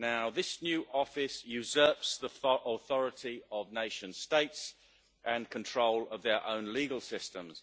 This new office usurps the authority of nation states and control of their own legal systems.